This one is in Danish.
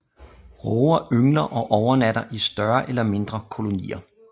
Råger yngler og overnatter i større eller mindre kolonier